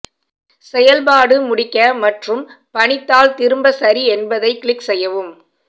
செயல்பாடு முடிக்க மற்றும் பணித்தாள் திரும்ப சரி என்பதை கிளிக் செய்யவும்